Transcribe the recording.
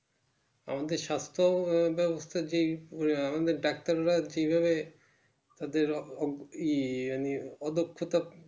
আমাদের সাস্থ ব্যাবস্থা যে আহ আমাদের doctor রা যেভাবে তাদের অব ই অদক্ষতা